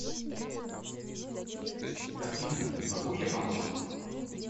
афина могу я помочь